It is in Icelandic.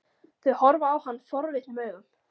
Þau horfa á hann forvitnum augum.